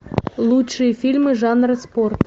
лучшие фильмы жанра спорт